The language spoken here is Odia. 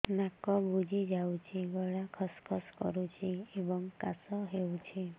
ନାକ ବୁଜି ଯାଉଛି ଗଳା ଖସ ଖସ କରୁଛି ଏବଂ କାଶ ହେଉଛି